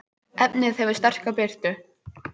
efnið hefur sterka birtu